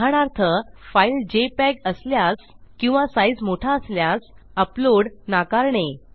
उदाहरणार्थ file JPEG असल्यास किंवा साईज मोठा असल्यास अपलोड नाकारणे